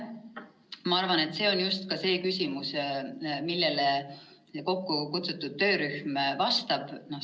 Ma arvan, et see on just üks neid küsimusi, millele kokkukutsutud töörühm vastab.